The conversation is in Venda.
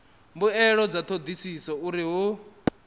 mbuelo dza thodisiso uri hu